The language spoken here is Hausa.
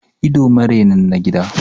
Ido marenin na gida